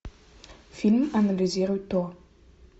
фильм анализируй то